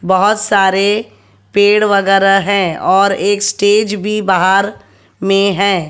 बोहोत सारे पेड़ वगैरह है और एक स्टेज भी बाहर में है।